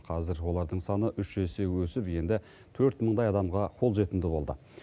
қазір олардың саны үш есе өсіп енді төрт мыңдай адамға қолжетімді болды